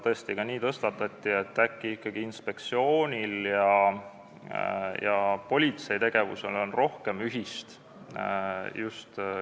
Tõesti tõstatati ka teema, et äkki on ikkagi inspektsiooni ja politsei tegevusel rohkem ühist.